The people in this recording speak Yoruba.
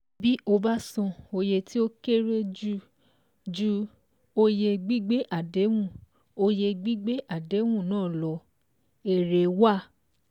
Bí o bá san oye tí ó kéré ju oye gbígbé àdéhùn oye gbígbé àdéhùn náà lọ, èré wà